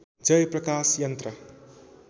जय प्रकाश यन्त्र